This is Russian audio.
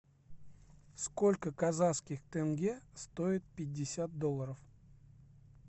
сколько казахских тенге стоит пятьдесят долларов